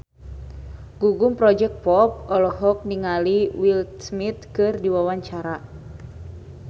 Gugum Project Pop olohok ningali Will Smith keur diwawancara